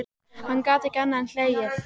Hann gat ekki annað en hlegið.